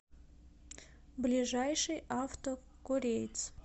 ближайший авто кореец